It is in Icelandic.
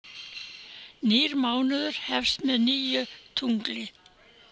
Nýr mánuður hefst með nýju tungli.